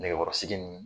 Nɛgɛkɔrɔsigi ni